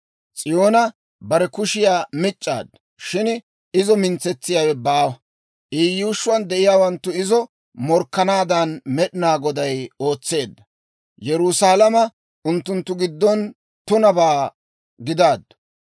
S'iyoona bare kushiyaa mic'c'aaddu; shin izo mintsetsiyaawe baawa. I yuushshuwaan de'iyaawanttu izo morkkanaadan, Med'inaa Goday ootseedda. Yerusaalama unttunttu giddon tunabaa gidaaddu.